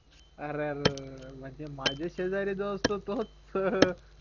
अर म्हणजे माझ्या शेजारी जो असतो तोच